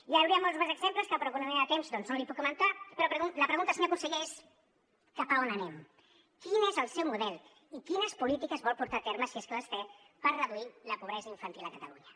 hi hauria molts més exemples que per economia de temps doncs no li puc comentar però la pregunta senyor conseller és cap a on anem quin és el seu model i quines polítiques vol portar a terme si és que les té per reduir la pobresa infantil a catalunya